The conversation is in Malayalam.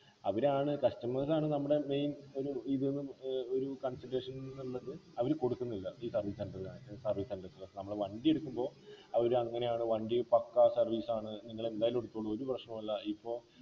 അവരാണ് customers ആണ് നമ്മടെ main ഒരു ഇത്ന്നു ഏർ ഒരു consideration ഉള്ളത് അവര് കൊടുക്കുന്നില്ല ഈ service center car service center നമ്മള് വണ്ടി എടുക്കുമ്പോ അവരങ്ങനെയാണ് വണ്ടി പക്കാ service ആണ് നിങ്ങളെന്തായാലും എടുത്തോളൂ ഒരു പ്രശ്നല്ല ഇപ്പം